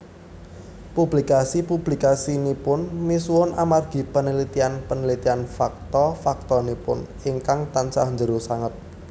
Publikasi publikasinipun misuwur amargi penelitian penelitian fakta faktanipun ingkang tansah jero sanget